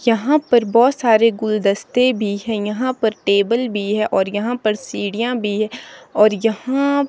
यहां पर बहोत सारे गुलदस्ते भी हैं यहां पर टेबल भी है और यहां पर सीढ़ियां भी है और यहां --